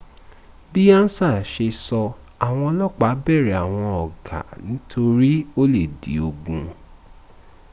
bí ansa ṣe sọ́, àwọn ọlọ́pà bẹ̀rẹ̀ àwọn ọgá nítorí ó lè di ogun